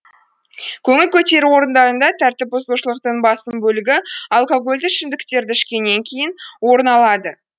көңіл көтеру орындарында тәртіп бұзушылықтың басым бөлігі алкогольді ішімдіктерді ішкеннен кейін орын алады